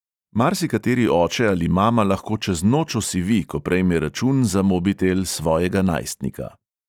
Marsikateri oče ali mama lahko čez noč osivi, ko prejme račun za mobitel svojega najstnika.